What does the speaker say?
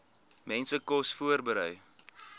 mense kos voorberei